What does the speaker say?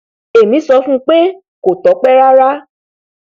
èmi sọ fún un pé kò tọpẹ rárá